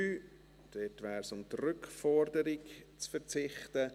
Es geht darum, auf die Rückforderung zu verzichten.